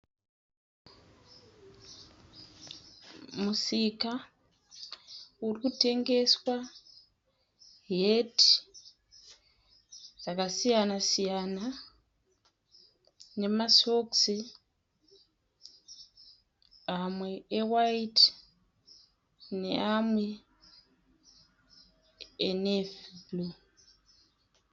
Musika uri kutengeswa heti dzakasiyana siyana nemasokisi amwe e waiti neamwe enevhi.